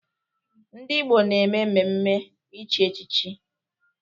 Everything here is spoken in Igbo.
Ndị Igbo na-eme mmemme ichi echichi.